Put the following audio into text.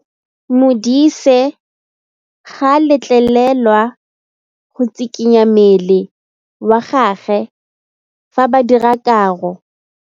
Modise ga a letlelelwa go tshikinya mmele wa gagwe fa ba dira karô.